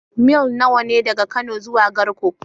Mil nawa ne daga Kano zuwa Garko?